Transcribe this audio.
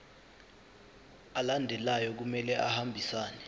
alandelayo kumele ahambisane